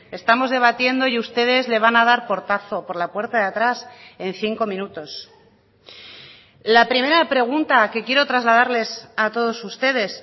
estamos debatiendo y ustedes le van a dar portazo por la puerta de atrás en cinco minutos la primera pregunta que quiero trasladarles a todos ustedes